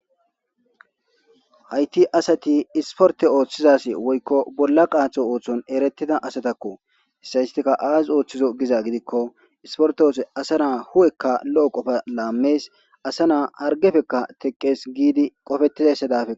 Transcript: hayti asati isporte ooththizas woykko bolla qaatho ooththon eretida asatakko issayistika aazi ooththizo giza gidikko isporte oose asa naa hu7ekka lo7o qofa laamees asa naa hargefekka teqqees giidi qofetizase dafek